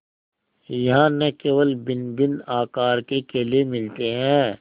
यहाँ न केवल भिन्नभिन्न आकार के केले मिलते हैं